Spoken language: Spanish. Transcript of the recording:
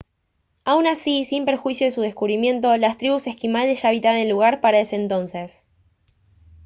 aun así sin perjuicio de su descubrimiento las tribus esquimales ya habitaban el lugar para ese entonces